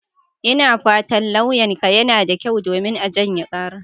Ina fatan lauyanka yana da kyau, domin a janye karar.